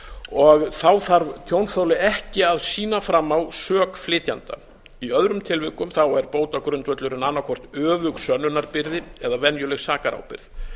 og þá þarf tjónþoli ekki að sýna fram á sök flytjanda í öðrum tilvikum er bótagrundvöllurinn annaðhvort öfug sönnunarbyrði eða venjuleg sakarábyrgð